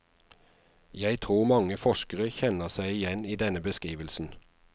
Jeg tror mange forskere kjenner seg igjen i denne beskrivelsen.